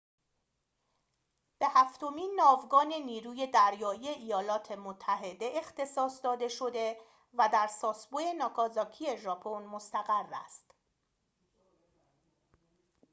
به هفتمین ناوگان نیروی دریایی ایالات متحده اختصاص داده شده و در ساسبو ناگازاکی ژاپن مستقر است